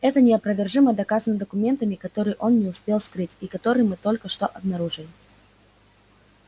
это неопровержимо доказано документами которые он не успел скрыть и которые мы только что обнаружили